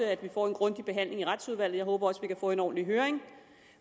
at vi får en grundig behandling i retsudvalget jeg håber også vi kan få en ordentlig høring